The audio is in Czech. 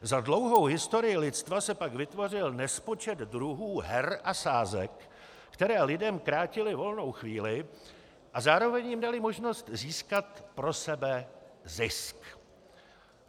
Za dlouhou historii lidstva se pak vytvořil nespočet druhů her a sázek, které lidem krátily volnou chvíli a zároveň jim dali možnost získat pro sebe zisk.